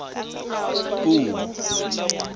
puo